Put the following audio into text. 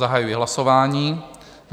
Zahajuji hlasování.